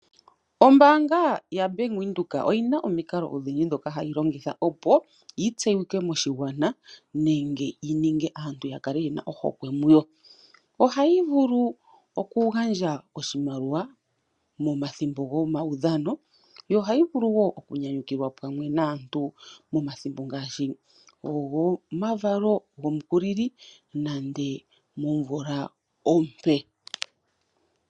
Ombaanga yaBank Windhoek oyina omikalo odhindji ndhoka hayi longitha, opo yi tseyike moshigwana nenge yi ninge aantu ya kale yena ohokwe muyo. Ohayi vulu oku gandja oshimaliwa nomathimbo gomaudhano, yo ohayi vulu wo oku nyanyukilwa pamwe naantu momathimbo ngaashi gomavalo gomukulili nande momvula ompe.